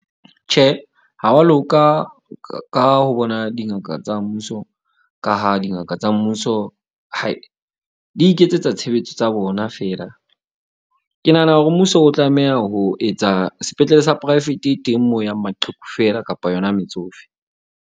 Tjhe, ha wa loka ka ho bona dingaka tsa mmuso ka ha dingaka tsa mmuso di iketsetsa tshebetso tsa bona fela. Ke nahana hore mmuso o tlameha ho etsa sepetlele sa poraefete teng, mo yang maqheku fela kapa yona metsofe.